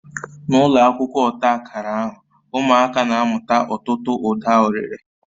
N'ụlọ akwụkwọ ọta akara ahụ, ụmụaka na-amụta ọtụtụ uda ọrịre